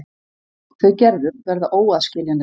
Þau Gerður verða óaðskiljanleg.